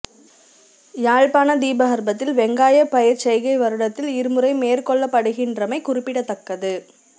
யாழ்ப்பாண தீபகற்பத்தில் வெங்காயப் பயிர்ச் செய்கை வருடத்தில் இரு முறை மேற்கொள்ளப்படுகின்றமை குறிப்பிடத்தக்கது